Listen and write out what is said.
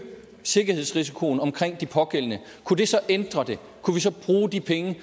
sikkerhedsrisikoen omkring de pågældende kunne det så ændre det kunne vi så bruge de penge